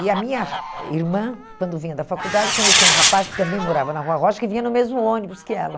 E a minha irmã, quando vinha da faculdade, conhecia um rapaz que também morava na Rua Rocha, que vinha no mesmo ônibus que ela.